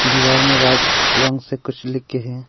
दीवार में वाइट रंग से कुछ लिखे हैं।